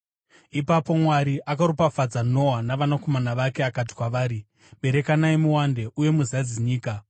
Ipapo Mwari akaropafadza Noa navanakomana vake, akati kwavari, “Berekanai muwande uye muzadze nyika.